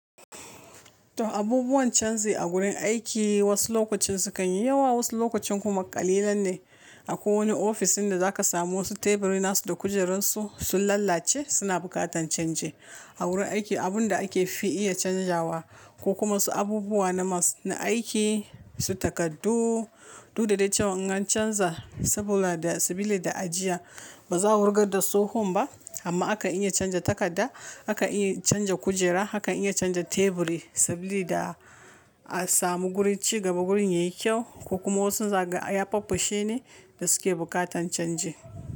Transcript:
To abubuwan canji a wurin aiki wasu lokacin sukan yi yawa, wasu lokacin kuma ƙalilan ne. Akwai wani ofisin da zaka samu wasu teburi nasu da kujerassu sun lallace suna bukatar chanji. A wurin aiki abun da ake fi iya canjawa ko kuma wasu abubuwa na aiki, su takardu, duk da cewa in ka canza saboda sabili da ajiya ba za a wurgar da tsohon ba amma akan iya canja takarda, akan iya canja kujera, hakan iya canja teburi saboda da a samu gurin ci gaba gurin yayi kyau ko kuma wasu zagaya faffashe ne da suke buƙatan canji.